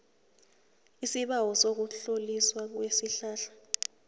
isibawo sokutloliswa kwesihlahla